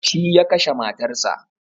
Shi ya kashe matar sa